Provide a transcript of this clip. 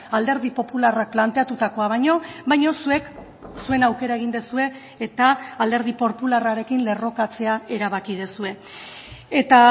alderdi popularrak planteatutakoa baino baina zuek zuen aukera egin duzue eta alderdi popularrarekin lerrokatzea erabaki duzue eta